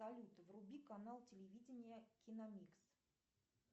салют вруби канал телевидения киномикс